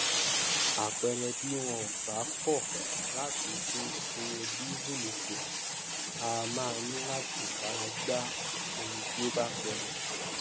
àpẹrẹbí wọn bá kọ láti dín owó dísùlù kù a máa ní láti fara gbá ohun tí ó bá ṣelẹ